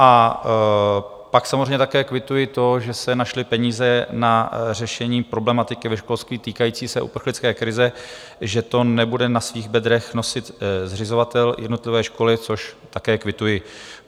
A pak samozřejmě také kvituji to, že se našly peníze na řešení problematiky ve školství týkající se uprchlické krize, že to nebude na svých bedrech nosit zřizovatel jednotlivé školy, což také kvituji.